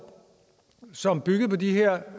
som byggede på de her